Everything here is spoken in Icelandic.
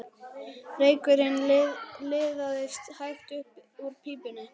Reykurinn liðaðist hægt upp úr pípunni.